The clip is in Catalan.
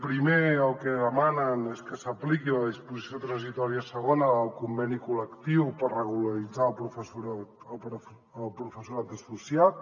primer el que demanen és que s’apliqui la disposició transitòria segona del conveni col·lectiu per regularitzar el professorat associat